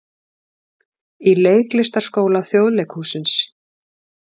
Í Leiklistarskóla Þjóðleikhússins.